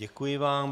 Děkuji vám.